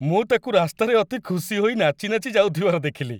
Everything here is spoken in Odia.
ମୁଁ ତାକୁ ରାସ୍ତାରେ ଅତି ଖୁସି ହୋଇ ନାଚି ନାଚି ଯାଉଥିବାର ଦେଖିଲି।